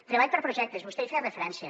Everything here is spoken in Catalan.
treball per a projectes vostè hi feia referència